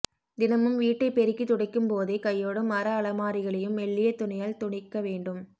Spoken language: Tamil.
தினமும் வீட்டைப் பெருக்கித் துடைக்கும்போதே கையோடு மர அமலாரிகளையும் மெல்லிய துணியால் துடைக்க வேண்டும்